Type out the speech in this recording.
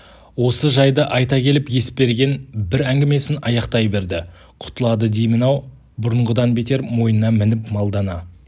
осы жайды айта келіп есберген бір әңгімесін аяқтай берді құтылады деймін-ау бұрынғыдан бетер мойнына мініп малдана